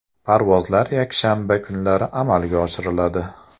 Parvozlar yakshanba kunlari amalga oshiriladi.